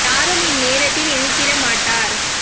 யாரும்இந் நேரத்தில் எதிர்த்திட மாட்டார்